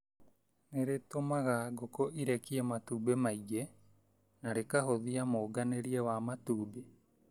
Nĩrĩtũmaga ngũkũ irekie matumbĩ maingĩ na rĩkahũthia mũnganĩrie wa matumbĩ.